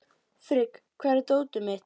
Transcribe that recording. Frigg, hvar er dótið mitt?